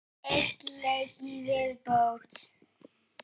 Einn leik í viðbót.